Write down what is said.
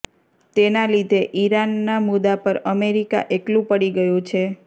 તેના લીધે ઇરાનના મુદ્દા પર અમેરિકા એકલું પડી ગયું છે